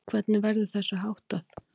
Hvernig verður þessu háttað?